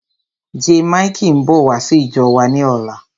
Jaymikee ń bọ̀ wá sí ìjọ wa ni ọ̀la.